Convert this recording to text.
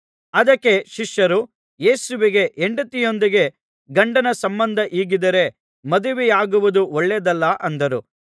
ಅದಕ್ಕೆ ಶಿಷ್ಯರು ಯೇಸುವಿಗೆ ಹೆಂಡತಿಯೊಂದಿಗೆ ಗಂಡನ ಸಂಬಂಧ ಹೀಗಿದ್ದರೆ ಮದುವೆಯಾಗುವುದು ಒಳ್ಳೆಯದಲ್ಲ ಅಂದರು